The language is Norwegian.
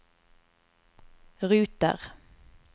ruter